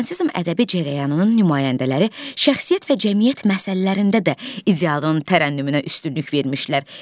Romantizm ədəbi cərəyanının nümayəndələri şəxsiyyət və cəmiyyət məsələlərində də idealın tərənnümünə üstünlük vermişdilər.